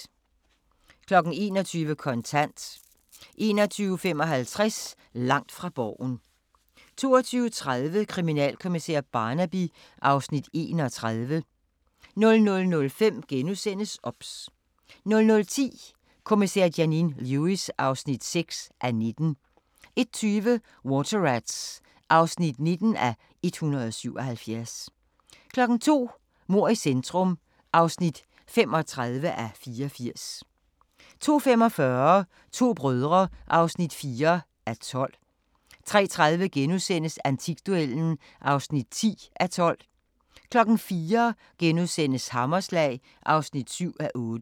21:00: Kontant 21:55: Langt fra Borgen 22:30: Kriminalkommissær Barnaby (Afs. 31) 00:05: OBS * 00:10: Kommissær Janine Lewis (6:19) 01:20: Water Rats (19:177) 02:00: Mord i centrum (35:84) 02:45: To brødre (4:12) 03:30: Antikduellen (10:12)* 04:00: Hammerslag (7:8)*